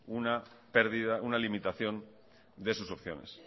una pérdida una limitación de sus opciones